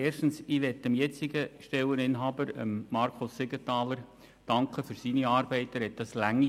Als Erstes möchte ich dem jetzigen Stelleninhaber, Markus Siegenthaler, für seine langjährige Arbeit danken.